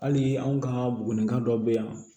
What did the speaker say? Hali anw ka buguni kan dɔ be yan